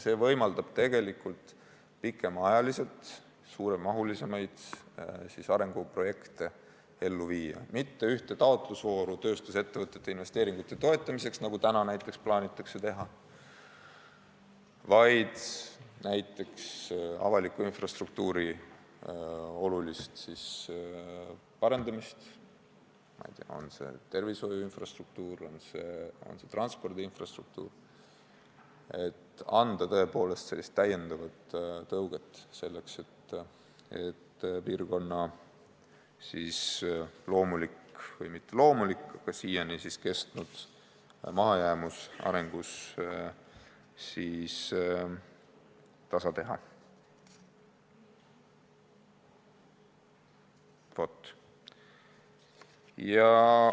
See võimaldab pikemaajaliselt suurema mahuga arenguprojekte ellu viia, see ei tähenda mitte ühte taotlusvooru tööstusettevõtete investeeringute toetamiseks, nagu praegu plaanitakse teha, vaid näiteks avaliku infrastruktuuri olulist parendamist, on see siis tervishoiu infrastruktuur või transpordi infrastruktuur, et anda lisatõuget, selleks et piirkonna loomulikku või mitteloomulikku, aga siiani kestnud mahajäämust arengus tasa teha.